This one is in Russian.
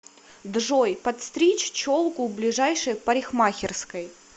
джой подстричь челку в ближайшей парикмахерской